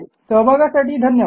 सहभागासाठी धन्यवाद